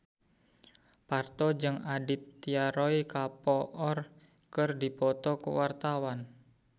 Parto jeung Aditya Roy Kapoor keur dipoto ku wartawan